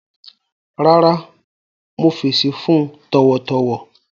Rárá, mo fẹṣí fun tọwọtọwọ